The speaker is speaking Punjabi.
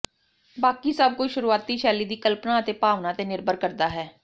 ਬਾਕੀ ਸਭ ਕੁਝ ਸ਼ੁਰੂਆਤੀ ਸ਼ੈਲੀ ਦੀ ਕਲਪਨਾ ਅਤੇ ਭਾਵਨਾ ਤੇ ਨਿਰਭਰ ਕਰਦਾ ਹੈ